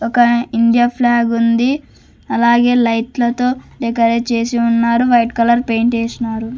ఒక India flag ఉంది అలాగే లైట్లతో డెకరేట్ చేసి ఉన్నారు వైట్ కలర్ పెయింట్ ఏసినారు.